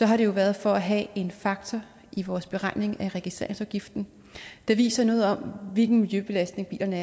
har det jo været for at have en faktor i vores beregning af registreringsafgiften der viser noget om hvilken miljøbelastning bilerne